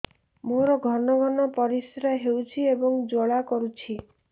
ମୋର ଘନ ଘନ ପରିଶ୍ରା ହେଉଛି ଏବଂ ଜ୍ୱାଳା କରୁଛି